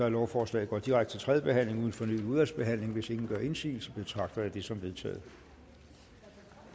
at lovforslaget går direkte til tredje behandling uden fornyet udvalgsbehandling hvis ingen gør indsigelse betragter jeg det som vedtaget